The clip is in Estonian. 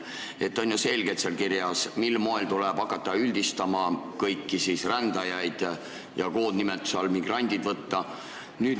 Seal on ju selgelt kirjas, mil moel tuleb hakata kõiki rändajaid üldistama ja võtta kasutusele koondnimetus "migrandid".